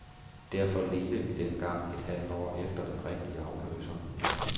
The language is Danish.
Derfor ledte vi dengang et halvt år efter den rigtige afløser.